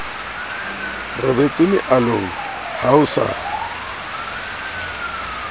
robetse mealong ha o sa